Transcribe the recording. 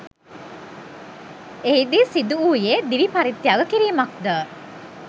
එහිදී සිදුවූයේ දිවි පරිත්‍යාග කිරීමක්ද